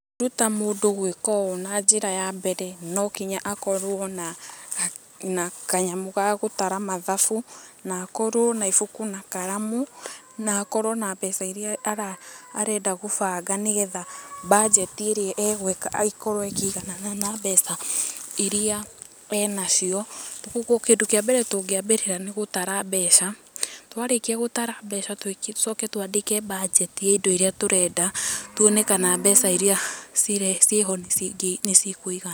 Ũngĩruta mũndũ gwĩka ũũ na njĩra ya mbere no nginya akorwo na, na kanyamu ga gũtara mathabu na akorwo na ibuku na karamu, na akorwo na mbeca iria ara arenda gũbanga nĩgetha budget ĩrĩa egwĩka ĩkorwo ĩkĩiganana na mbeca iria e nacio,. Koguo kĩndũ kĩa mbere tũngĩambĩrĩra nĩ gũtara mbeca, twarĩkia gũtara mbeca twĩke, tũcoke twandĩke budgeti ya indo iria tũrenda tuone kana mbeca iria cirĩ, ciĩho nĩ cikũigana.